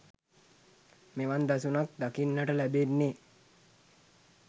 මෙවන් දසුනක් දකින්නට ලැබෙන්නේ